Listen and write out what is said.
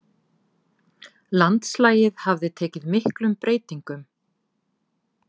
Landslagið hafði tekið miklum breytingum.